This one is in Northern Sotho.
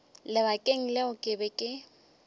lebakeng leo ke be ke